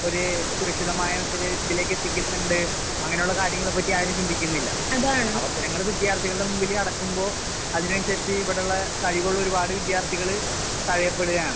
സുരക്ഷിതമായ ഇത് ഇതിലേക്ക് എത്തിക്കുന്നുണ്ട് അങ്ങനെയുള്ള കാര്യങ്ങളെപ്പറ്റി ആരും ചിന്തിക്കുന്നില്ല. അവസരങ്ങള് വിദ്യാർത്ഥികളുടെ മുമ്പില് കെടക്കുമ്പോ അതിനനുസരിച്ച് ഇവിടുള്ള കഴിവുള്ള ഒരുപാട് വിദ്യാർത്ഥികള് തഴയപ്പെടുവാണ്.